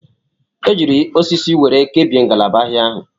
E jiiri osisi were kebie ngalaba ahịa ahụ.